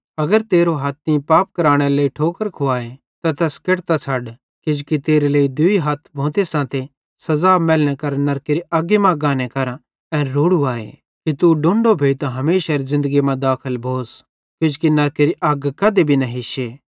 अगर तेरो हथ तीं पाप केरनेरे लेइ ठोकर खुवाए त तैस केट्टी छ़ड किजोकि तेरे लेइ दूई हथ भोंते सांते सज़ा मैलनेरे लेइ नरकेरी अग्गी मां गाने केरां एन रोड़ू आए कि तू डोण्डो भोइतां हमेशारी ज़िन्दगी मां दाखल भोस किजोकि नरकेरी अग कधी भी न हिश्शे